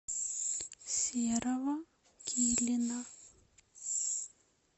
серого килина